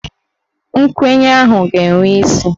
Nkwenye ahụ ga-enwe isi